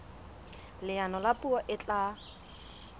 leano la puo e tla